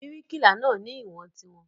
Bíríkìlà náà ni ìwọ̀n tiwọn.